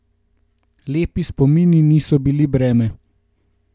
Lepi spomini niso bili breme.